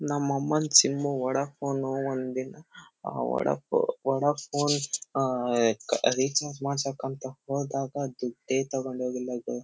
ನಮ್ ಅಮ್ಮನ್ sim Vodafone. ಒಂದ್ ದಿನ ವೊಡ ಫೋನ್ ವೊಡ ಫೋನ್ ಆಹ್ಹ್ ಏಕ್ ರಿಚಾರ್ಜ್ ಮಾಡ್ಸಕ್ ಅಂತ ಹೋದಾಗ ದುಡ್ಡೇ ತಗೊಂಡ್ ಹೋಗಿಲ್ಲ ಗು.